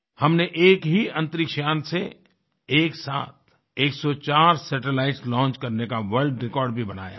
हमने एक ही अंतरिक्ष यान से एक साथ 104 सैटेलाइट्स लॉन्च करने का वर्ल्ड रिकॉर्ड भी बनाया है